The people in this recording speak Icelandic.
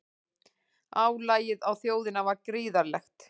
Álagið á þjóðina var gríðarlegt